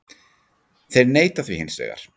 Þeir neita því hins vegar